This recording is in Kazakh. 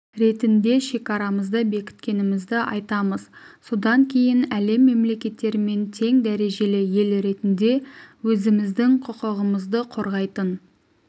ретінде шекарамызды бекіткенімізді айтамыз содан кейін әлем мемлекеттерімен тең дәрежелі ел ретінде өзіміздің құқығымызды қорғайтын